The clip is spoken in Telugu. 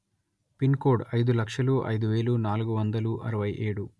పిన్ కోడ్ అయిదు లక్షల అయిదు వేల నాలుగు వందల అరవై ఏడు